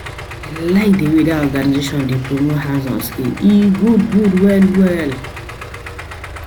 I like di wey that organization dey promote hands-on skills, e good good well well